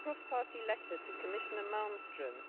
cross party letter to Commissioner Malmström,